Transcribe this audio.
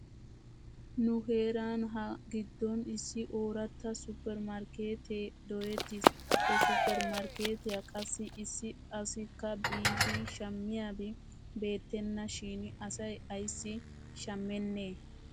Nu heeran ha giddon issi ooratta supper markeetee doyettis. He supper markeetiyaa qassi issi asikka biidi shamiyaabi beettenna shin asay ayssi shammenee.